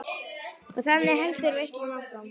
Og þannig heldur veislan áfram.